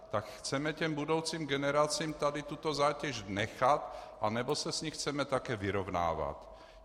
Tak chceme těm budoucím generacím tady tuto zátěž nechat, anebo se s ní chceme také vyrovnávat?